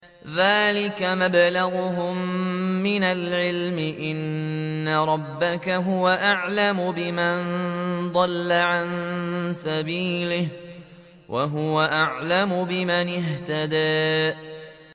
ذَٰلِكَ مَبْلَغُهُم مِّنَ الْعِلْمِ ۚ إِنَّ رَبَّكَ هُوَ أَعْلَمُ بِمَن ضَلَّ عَن سَبِيلِهِ وَهُوَ أَعْلَمُ بِمَنِ اهْتَدَىٰ